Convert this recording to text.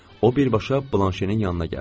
O birbaşa blanşenin yanına gəldi.